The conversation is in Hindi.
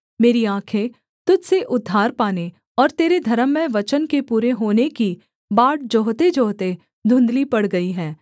मेरी आँखें तुझ से उद्धार पाने और तेरे धर्ममय वचन के पूरे होने की बाट जोहतेजोहते धुँधली पड़ गई हैं